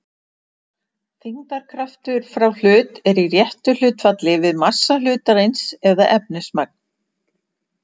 þyngdarkraftur frá hlut er í réttu hlutfalli við massa hlutarins eða efnismagn